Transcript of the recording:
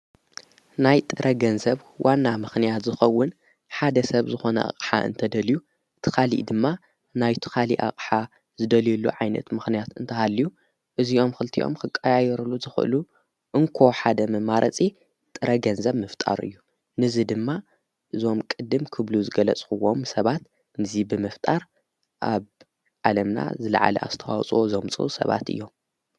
ናይ ጥረ ገንዘብ ሰብ ዋና ምኽንያት ዝኸውን ሓደ ሰብ ዝኾነ ኣቕሓ እንተደልዩ ትኻልእ ድማ ናይቱ ኻሊኣቕሓ ዝደልየሉ ዓይነት ምኽንያት እንተሃልዩ እዚኦም ክልቲኦም ክቃያይሩሉ ዝኽእሉ እንኮ ሓደ መማረጺ ጥረገንዘብ ምፍጣሩ እዩ። ነዚ ድማ እዞም ቅድም ክብሉ ዝገለጽኽዎም ሰባት ነዚ ብምፍጣር ኣብ ዓለምና ዝለዓሊ ኣስተዋፅዎ ዘሙፅ ሰባት እዮም።